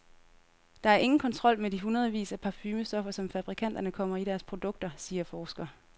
Der er ingen kontrol med de hundredvis af parfumestoffer, som fabrikanterne kommer i deres produkter, siger forsker.